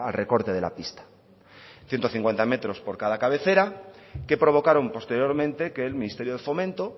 recorte de la pista ciento cincuenta metros por cada cabecera que provocaron posteriormente que el ministerio de fomento